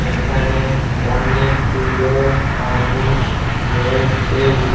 এখানে অনেকগুলো মানুষ রইছে।